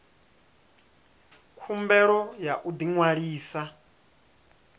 khumbelo ya u ḓi ṅwalisa